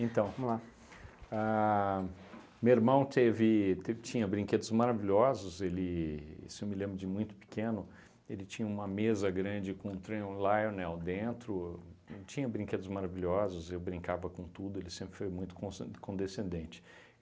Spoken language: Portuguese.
Então, vamos lá, a meu irmão teve te tinha brinquedos maravilhosos, ele, isso eu me lembro de muito pequeno, ele tinha uma mesa grande com um Lionel dentro, tinha brinquedos maravilhosos, eu brincava com tudo, ele sempre foi muito consc condescendente.